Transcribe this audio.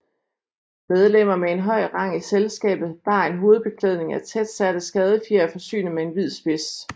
Medlemmer med en høj rang i selskabet bar en hovedbeklædning af tætsatte skadefjer forsynet med en hvid spids